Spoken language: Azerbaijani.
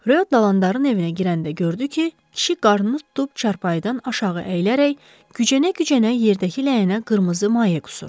Röyo Dalandarın evinə girəndə gördü ki, kişi qarnını tutub çarpayıdan aşağı əyilərək gücənə-gücənə yerdəki ləyənə qırmızı maye qusur.